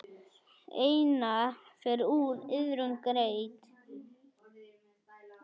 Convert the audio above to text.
Einatt fer úr iðrum greitt.